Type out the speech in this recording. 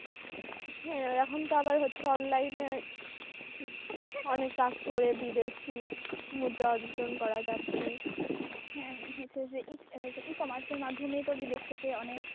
হ্যাঁ এখন তো আবার হচ্ছে অনলাইনে অনেক কাজ করে বিদেশি মুদ্রা অর্জন করা যাচ্ছে হচ্ছে E commerce এর মাধ্যমেই তো বিদেশ থেকে অনেক,